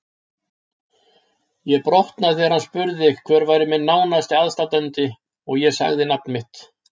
Ég brotnaði þegar hann spurði hver væri minn nánasti aðstandandi og ég sagði nafn þitt.